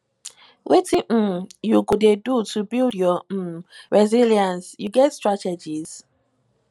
wetin um you dey do to build your um resilience you get strategies